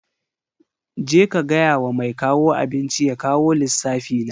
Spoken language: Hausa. Je ka gaya wa mai kawo abinci ya kawo lissafi na.